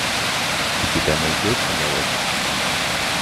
у тебя найдется молодость